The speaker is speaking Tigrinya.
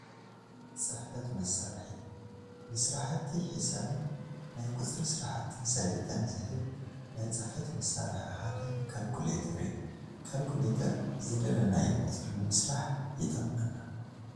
ፅሕፈት መሳርሒ፡- ንስራሕቲ ሒሳብን ናይ ቁፅሪ ስራሕትን ሰለጤን ዝህብ ናይ ፅሕፈት መሳርሒ ሓደ ካልኩሌተር እዩ፡፡ ካልኩሌተር ዝደለናዮ ቁፅሪ ንምስላሕ ይጠቅመና፡፡